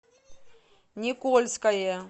никольское